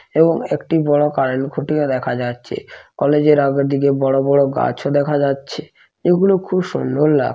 এবং একটি বড় কারেন্ট খুঁটিও দেখা যাচ্ছে। কলেজের আগের দিকে বড় বড় গাছ দেখা যাচ্ছে। এগুলো খুব সুন্দর লা--